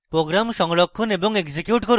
program সংরক্ষণ এবং execute করুন